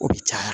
O bɛ caya